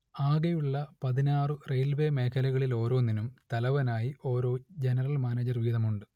ആകെയുള്ള പതിനാറു റെയിൽവേ മേഖലകളിലോരോന്നിനും തലവനായി ഓരോ ജനറൽ മാനേജർ വീതമുണ്ട്